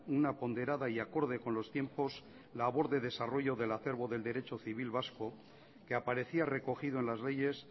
una ponderada y acorde con los tiempos labor de desarrollo del acerbo del derecho civil vasco que aparecía recogido en las leyes